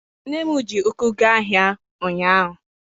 Nne m ji ụkwụ gaa ahịa ụnyaahụ.